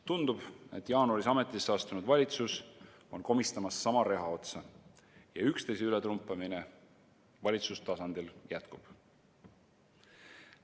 Tundub, et jaanuaris ametisse astunud valitsus on komistamas sama reha otsa ja üksteise ületrumpamine valitsustasandil jätkub.